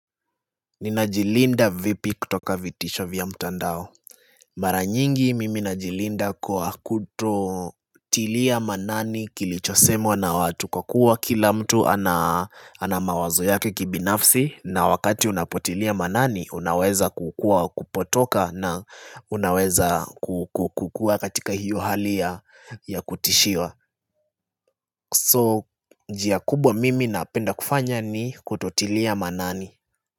Ninajilinda vipi kutoka vitisho vya mtandao Mara nyingi mimi najilinda kwa kutotilia maanani kilichosemwa na watu wa kuwa kila mtu ana mawazo yake kibinafsi na wakati unapotilia maanani unaweza kukua kupotoka na unaweza kukua katika hiyo hali ya kutishiwa So njia kubwa mimi napenda kufanya ni kutotilia maanani.